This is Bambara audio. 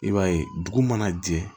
I b'a ye dugu mana jɛ